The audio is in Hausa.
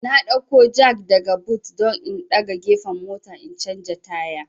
N dauko jak daga but don in daga gefen mota in canja taya